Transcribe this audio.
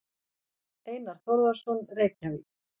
Einar Þórðarson, Reykjavík.